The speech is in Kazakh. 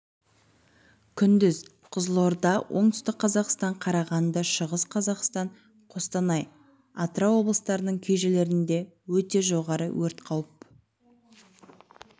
күндіз қызылорда оңтүстік қазақстан қарағанды шығыс қазақстан қостанай атырау облыстарының кей жерлерінде өте жоғары өрт қауіпі